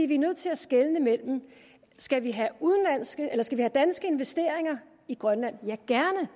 vi er nødt til at skelne skal vi have danske investeringer i grønland ja gerne